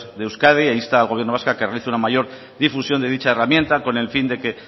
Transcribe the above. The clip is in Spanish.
de euskadi e insta al gobierno vasco a que realice una mayor difusión de dicha herramienta con el fin de que